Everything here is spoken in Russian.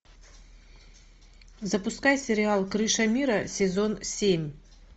запускай сериал крыша мира сезон семь